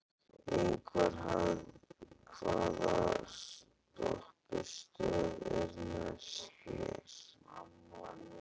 Ingvar, hvaða stoppistöð er næst mér?